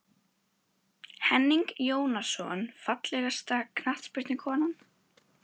Henning Jónasson Fallegasta knattspyrnukonan?